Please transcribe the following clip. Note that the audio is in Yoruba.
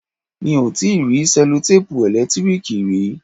Mi ò tíì rí sẹlotẹ́pù ẹ̀lẹ́tíríìkì rí.